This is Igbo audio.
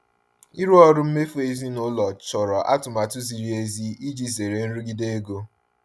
Ịrụ ọrụ mmefu ezinaụlọ chọrọ atụmatụ ziri ezi iji zere nrụgide ego.